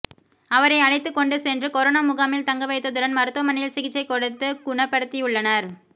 அவரை அழைத்துக் கொண்டு சென்று கொரோனா முகாமில் தங்க வைத்ததுடன் மருத்துவமனையில் சிகிச்சை கொடுத்து குணப்படுத்தியுள்ளனர்